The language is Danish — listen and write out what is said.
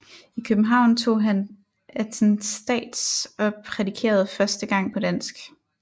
I København tog han attestats og prædikede første gang på dansk